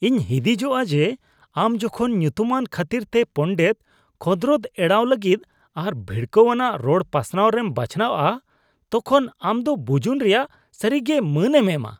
ᱤᱧ ᱦᱤᱸᱫᱤᱡᱚᱜᱼᱟ ᱡᱮ, ᱟᱢ ᱡᱚᱠᱷᱚᱱ ᱧᱩᱛᱩᱢᱟᱱ ᱠᱷᱟᱹᱛᱤᱨᱛᱮ ᱯᱚᱸᱰᱮᱛ ᱠᱷᱚᱸᱫᱨᱚᱫ ᱮᱲᱟᱣ ᱞᱟᱹᱜᱤᱫ ᱟᱨ ᱵᱷᱤᱲᱠᱟᱹᱣᱟᱱᱟᱜ ᱨᱚᱲ ᱯᱟᱥᱱᱟᱣ ᱨᱮᱢ ᱵᱟᱪᱷᱟᱣᱼᱟ ᱛᱚᱠᱷᱚᱱ ᱟᱢ ᱫᱚ ᱵᱩᱡᱩᱱ ᱨᱮᱭᱟᱜ ᱥᱟᱹᱨᱤᱜᱮ ᱢᱟᱹᱱᱮᱢ ᱮᱢᱟ ᱾